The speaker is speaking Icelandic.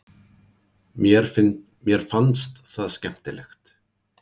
Mér fannst það skemmtilegt.